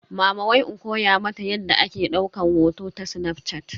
Mama wai in koya mata yadda ake daukan hoto ta snafshat.